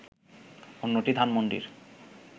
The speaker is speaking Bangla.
অন্যটি ধানমণ্ডির